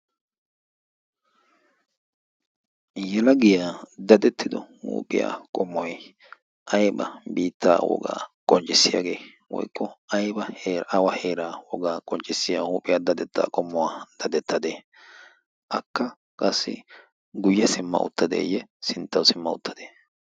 Yelagiya dadettido huuphiya qommoy ayba biittaa wogaa qonccissiyagee woykko awa heeraa wogaa qonccissiya huphiya dadettaa qommuwa dadettadee? Akka qassi guyye simma uttadeeyye sinttawu simma uttadee?